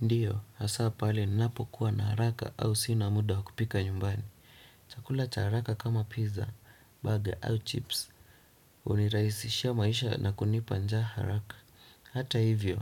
Ndiyo, hasa pale ninapokuwa na haraka au sina muda wa kupika nyumbani. Chakula cha haraka kama pizza, burger au chips. Hunirahisishia maisha na kunipa njaa haraka. Hata hivyo,